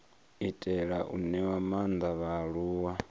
itela u ṅea maanḓa vhaaluwa